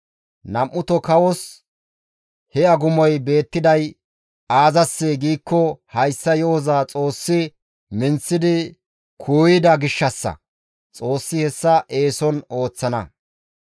Nam7uto kawos he agumoy beettiday aazassee giikko hayssa yo7oza Xoossi minththidi kuuyida gishshassa; Xoossi hessa eeson ooththana.